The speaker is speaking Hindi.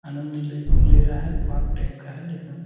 आनंद ले ले रहा है पार्क टाइप का है देखने से।